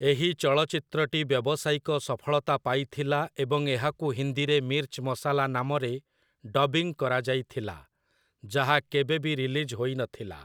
ଏହି ଚଳଚ୍ଚିତ୍ରଟି ବ୍ୟବସାୟିକ ସଫଳତା ପାଇଥିଲା ଏବଂ ଏହାକୁ ହିନ୍ଦୀରେ 'ମିର୍ଚ ମସାଲା' ନାମରେ ଡବିଂ କରାଯାଇଥିଲା, ଯାହା କେବେ ବି ରିଲିଜ୍ ହୋଇନଥିଲା ।